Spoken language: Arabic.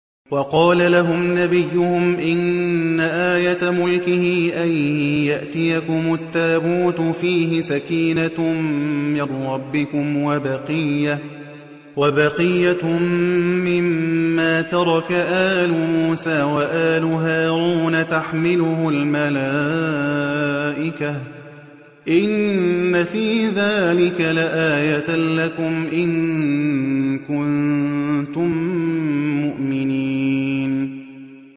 وَقَالَ لَهُمْ نَبِيُّهُمْ إِنَّ آيَةَ مُلْكِهِ أَن يَأْتِيَكُمُ التَّابُوتُ فِيهِ سَكِينَةٌ مِّن رَّبِّكُمْ وَبَقِيَّةٌ مِّمَّا تَرَكَ آلُ مُوسَىٰ وَآلُ هَارُونَ تَحْمِلُهُ الْمَلَائِكَةُ ۚ إِنَّ فِي ذَٰلِكَ لَآيَةً لَّكُمْ إِن كُنتُم مُّؤْمِنِينَ